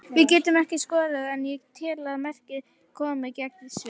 Við getum ekki skorað en ég tel að markið komi gegn Sviss.